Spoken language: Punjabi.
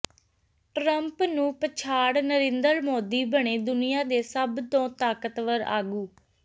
ਟਰੰਪ ਨੂੰ ਪਛਾੜ ਨਰਿੰਦਰ ਮੋਦੀ ਬਣੇ ਦੁਨੀਆਂ ਦੇ ਸਭ ਤੋਂ ਤਾਕਤਵਰ ਆਗੂ